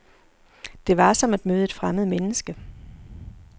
Det var, som at møde et fremmed menneske.